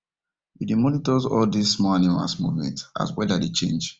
we dey monitors all these small animals movement as weather dey change